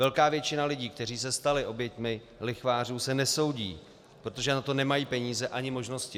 Velká většina lidí, kteří se stali oběťmi lichvářů, se nesoudí, protože na to nemají peníze ani možnosti.